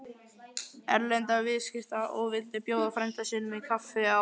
Erlendra viðskipta og vildi bjóða frænda sínum í kaffi á